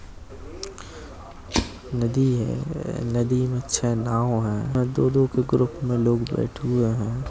नदी है नदी मे छे नाव है दो-दो के ग्रुप में लोग बैठे हुए है।